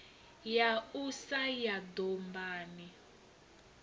ya u sa ya dombani